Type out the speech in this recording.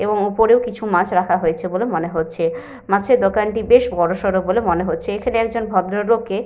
এবং ওপরেও কিছু মাছ রাখা হয়েছে বলে মনে হচ্ছে। মাছের দোকানটি বেশ বড়সড় বলে মনে হচ্ছে। এখানে একজন ভদ্রলোককে --